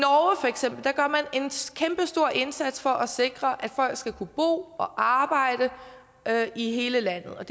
kæmpestor indsats for at sikre at folk skal kunne bo og arbejde i hele landet og